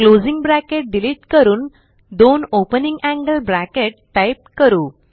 closing bracket delete करून दोन opening angle bracket type करू